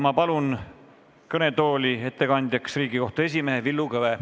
Ma palun kõnetooli Riigikohtu esimehe Villu Kõve.